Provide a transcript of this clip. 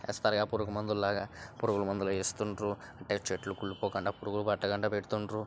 పురుగుల మందులు లాగా పురుగుల మందులు ఏస్తుండ్రు ఆ చెట్లు కుళ్ళిపోకుండా పురుగులు పెట్టకుండా పెడుతుండ్రు.